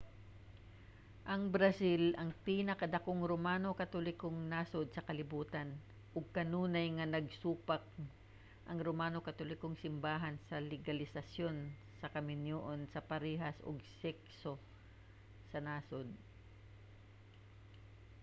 ang brazil ang pinakadakong romano katolikong nasud sa kalibutan ug kanunay nga nagsupak ang romano katolikong simbahan sa legalisasyon sa kaminyoon sa parehas og sekso sa nasud